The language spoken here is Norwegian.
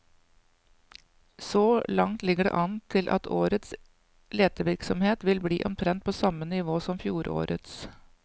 Så langt ligger det an til at årets letevirksomhet vil bli omtrent på samme nivå som fjorårets.